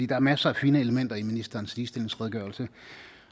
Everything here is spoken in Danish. der er masser af fine elementer i ministerens ligestillingsredegørelse